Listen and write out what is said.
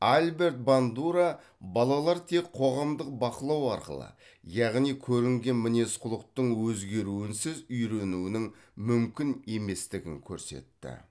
альберт бандура балалар тек қоғамдық бақылау арқылы яғни көрінген мінез құлықтың өзгеруінсіз үйренуінің мүмкін еместігін көрсетті